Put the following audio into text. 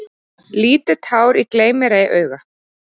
Lítið tár í gleym-mér-ei-auga.